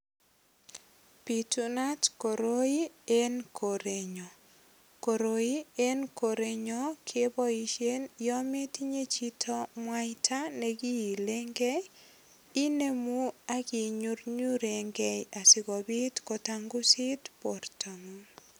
Bitunat koroi en korenyun. Koroi en korenyon keboisie yon metinye chito mwaita nekiilenge. Inemu ak inyurnyurengei asigopit kotangusit bortongung.